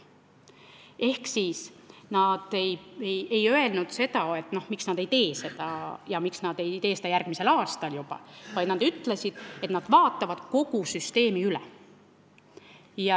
Ehk nad ei öelnud, miks nad seda ei tee ja miks nad ei tee seda juba järgmisel aastal, vaid nad ütlesid, et nad vaatavad üle kogu süsteemi.